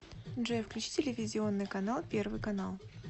джой включи телевизионный канал первый канал